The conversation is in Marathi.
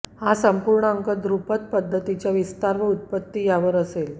हा संपूर्ण अंक ध्रुपद पद्धतीच्या विस्तार व उत्पत्ति यावर असेल